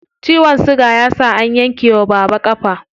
Ciwon siga ya sa an yanke wa baba ƙafa.